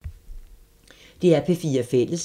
DR P4 Fælles